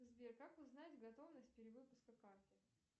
сбер как узнать готовность перевыпуска карты